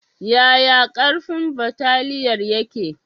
Yaya ƙarfin bataliyar yake?